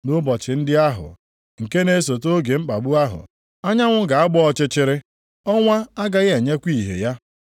“Nʼụbọchị ndị ahụ, nke na-esote oge mkpagbu ahụ, “ ‘anyanwụ ga-agba ọchịchịrị, ọnwa agaghị enyekwa ìhè ya;